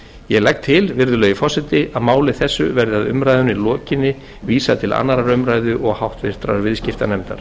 ég legg til herra forseti að máli þessu verði að umræðunni lokinni vísað til annarrar umræðu og háttvirtur viðskiptanefndar